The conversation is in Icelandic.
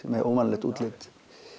með óvanalegt útlit